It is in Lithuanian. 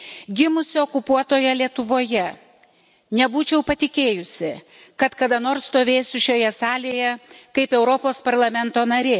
Gimusi okupuotoje Lietuvoje, nebūčiau patikėjusi, kad kada nors stovėsiu šioje salėje kaip Europos Parlamento narė.